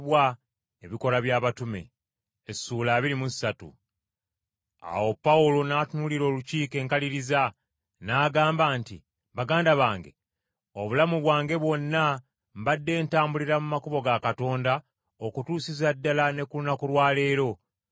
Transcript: Awo Pawulo n’atunuulira Olukiiko enkaliriza, n’agamba nti, “Baganda bange, obulamu bwange bwonna mbadde ntambulira mu makubo ga Katonda okutuusiza ddala ne ku lunaku lwa leero.”